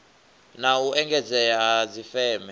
na u engedzea ha dzifeme